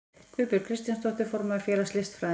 Guðbjörg Kristjánsdóttir, formaður félags listfræðinga.